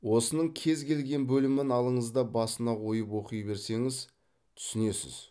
осының кез келген бөлімін алыңыз да басына қойып оқи берсеңіз түсінесіз